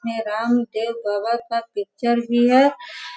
राम देव का पिक्चर भी है।